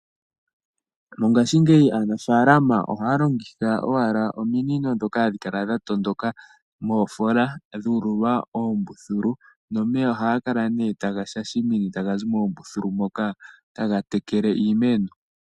Mongashingeyi aanafalama ohaya longitha owala ominino ndhoka hadhikala dhatondoka moofola dhuululwa oombuthulu nomeya ohaga kala nee taga shashamine taga zi moombuthulu moka taga tekele iimeno.